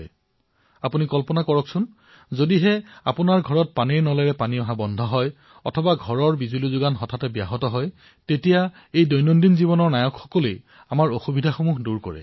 আপোনালোকে কল্পনা কৰক যে এদিন আপোনাৰ ঘৰলৈ পানী অহা বন্ধ হৈ গল অথবা ঘৰৰ বিদ্যুৎ সংযোগ বিচ্ছিন্ন হৈ পৰিল তেনে ক্ষেত্ৰত এই দৈনিক জীৱনৰ নায়কসকলেই আমাৰ সমস্যা দূৰ কৰে